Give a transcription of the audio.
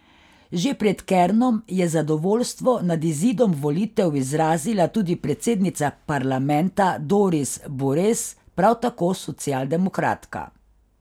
Že pred Kernom je zadovoljstvo nad izidom volitev izrazila tudi predsednica parlamenta Doris Bures, prav tako socialdemokratka.